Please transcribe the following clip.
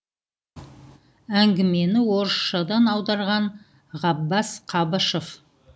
әңгімені орысшадан аударған ғаббас қабышев